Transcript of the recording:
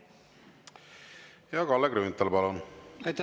Kalle Grünthal, palun!